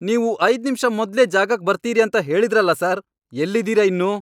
ನೀವು ಐದ್ ನಿಮ್ಷ ಮೊದ್ಲೇ ಜಾಗಕ್ ಬರ್ತೀರಿ ಅಂತ ಹೇಳಿದ್ರಲ ಸರ್! ಎಲ್ಲಿದೀರ ಇನ್ನೂ?!